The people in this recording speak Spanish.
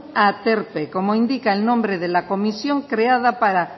aterpe como indica el nombre de la comisión creada para